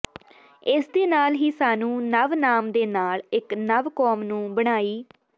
ਇਸ ਦੇ ਨਾਲ ਹੀ ਸਾਨੂੰ ਨਵ ਨਾਮ ਦੇ ਨਾਲ ਇੱਕ ਨਵ ਕੌਮ ਨੂੰ ਬਣਾਈ